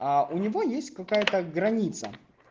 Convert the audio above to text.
у него есть какая-то граница